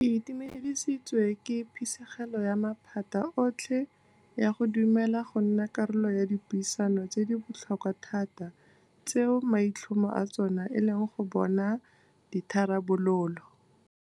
Ke itumedisitswe ke phisegelo ya maphata otlhe ya go dumela go nna karolo ya dipuisano tse di botlhokwa thata tseo maitlhomo a tsona e leng go bona ditharabololo.